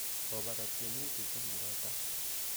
Kobate tiemutik kokiro tai